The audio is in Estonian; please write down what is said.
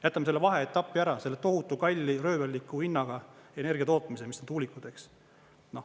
Jätame selle vaheetapi ära, selle tohutu kalli, röövelliku hinnaga energiatootmise, mis on tuulikud.